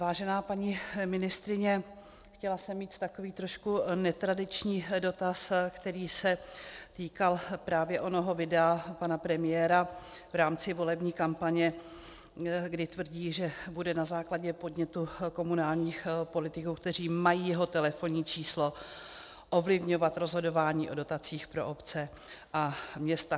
Vážená paní ministryně, chtěla jsem mít takový trošku netradiční dotaz, který se týkal právě onoho videa pana premiéra v rámci volební kampaně, kdy tvrdí, že bude na základě podnětu komunálních politiků, kteří mají jeho telefonní číslo, ovlivňovat rozhodování o dotacích pro obce a města.